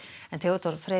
Theodór Freyr